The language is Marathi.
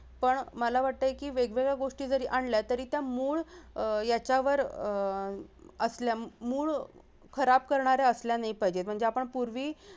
पण मला वाटतंय की वेगवेगळ्या गोष्टी जरी आणल्या तरी त्या मूळ अह याच्यावर अह असल्या मूळ खराब करणाऱ्या असल्या नाही पाहिजे म्हणजे आपण पूर्वी